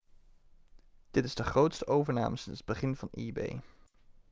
dit is de grootste overname sinds het begin van ebay